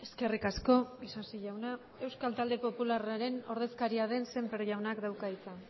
eskerrik asko isasi jauna euskal talde popularraren ordezkaria den sémper jaunak dauka hitza